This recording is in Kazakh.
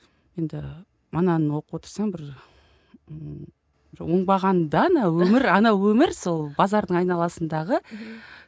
енді ананы оқып отырсаң бір ммм оңбаған да ана өмір ана өмір сол базардың айналасындағы мхм